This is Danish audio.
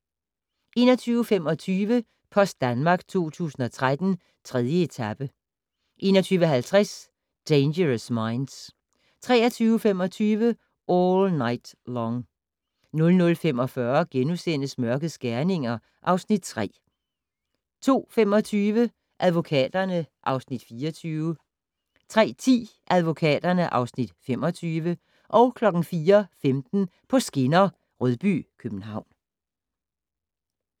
21:25: Post Danmark 2013: 3. etape 21:50: Dangerous Minds 23:25: All Night Long 00:45: Mørkets gerninger (Afs. 3)* 02:25: Advokaterne (Afs. 24) 03:10: Advokaterne (Afs. 25) 04:15: På skinner: Rødby-København